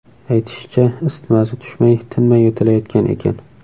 Aytishicha, isitmasi tushmay, tinmay yo‘talayotgan ekan.